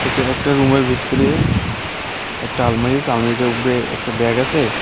ওইতো একটা রুমের ভিতরে একটা আলমারি আসে আলমারিটার উপরে একটা ব্যাগ আসে.